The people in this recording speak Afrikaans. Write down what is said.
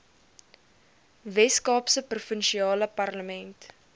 weskaapse provinsiale parlement